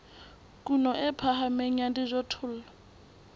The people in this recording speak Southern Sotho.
kuno e phahameng ya dijothollo